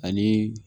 Ani